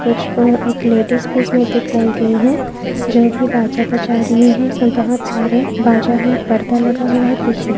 कुछ को एक लेडीज भी इस मे दिखाई गयी है जो की बाजा बजा रही है इस मे बहुत सारे बाजा है पर्दा लगा हुआ है पीछे।